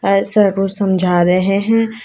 ऐ sir कुछ समझा रहे हैं।